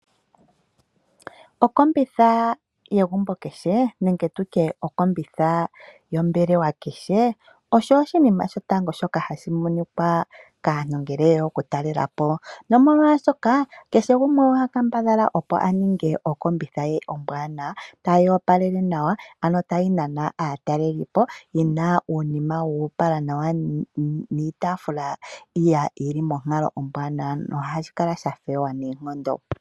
Okombitha yegumbo kehe, nenge tutye okombitha yombelewa kehe, osho oshinima shoka ha shi monika, tango kaantu ngele ye ya oku yalelapo, nomolwaashoka, kehe gumwe oha kambadha opo aninge okombitha ye ombwaanawa, ta yoopalele nawa, ano ta yi nana aatalelipo yina iitafula yi li monkalo ombwanawa no ha yi kala yo opala noonkondo.